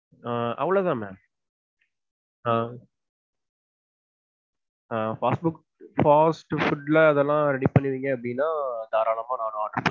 ஆஹ் அவ்ளோதா ma'am. ஆஹ் fast food fast food ல அதெல்லாம் ready பண்ணிருவீங்க அப்டீன்னா தாராளமா நான்